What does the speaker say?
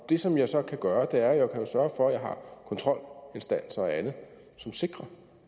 det som jeg så kan gøre er jeg kan sørge for at kontrolinstanser og andet som sikrer